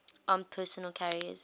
armored personnel carriers